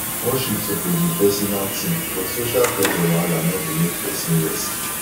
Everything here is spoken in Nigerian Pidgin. worship suppose be pesinal tin but social pressure wahala no go make pesin rest